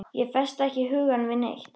Ég festi ekki hugann við neitt.